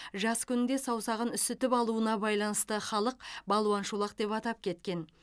жас күнінде саусағын үсітіп алуына байланысты халық балуан шолақ деп атап кеткен